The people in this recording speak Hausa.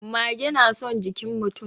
Mage na son jikin mutum.